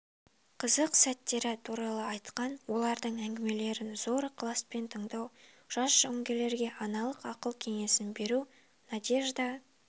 қызық сәттері туралы айтқан олардың әңгімелерін зор ықыласпен тыңдау жас жауынгерлерге аналық ақыл-кеңесін беру надежда